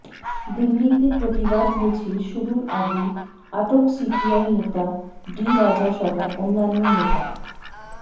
দিল্লিতে প্রতিবাদ মিছিল শুরুর আগেই আটক সিপিআই নেতা ডি রাজা সহ অন্যান্য নেতা